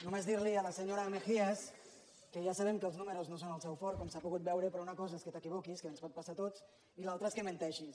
només dir a la senyora mejías que ja sabem que els números no són el seu fort com s’ha pogut veure però una cosa és que t’equivoquis que ens pot passar a tots i l’altra és que menteixis